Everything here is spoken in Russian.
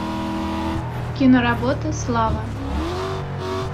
киноработа слава